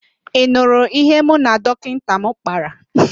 Ị nụrụ ihe mụ na dọkịnta m kpara?